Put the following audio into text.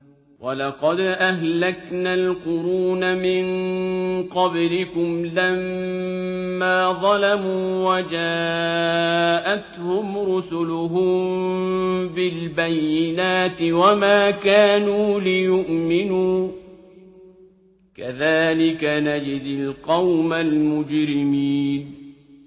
وَلَقَدْ أَهْلَكْنَا الْقُرُونَ مِن قَبْلِكُمْ لَمَّا ظَلَمُوا ۙ وَجَاءَتْهُمْ رُسُلُهُم بِالْبَيِّنَاتِ وَمَا كَانُوا لِيُؤْمِنُوا ۚ كَذَٰلِكَ نَجْزِي الْقَوْمَ الْمُجْرِمِينَ